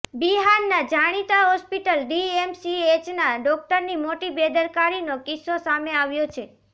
બિહારના જાણીતા હોસ્પિટલ ડીએમસીએચના ડોક્ટરની મોટી બેદરકારીનો કિસ્સો સામે આવ્યો છે